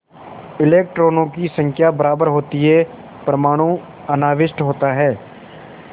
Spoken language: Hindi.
इलेक्ट्रॉनों की संख्या बराबर होती है परमाणु अनाविष्ट होता है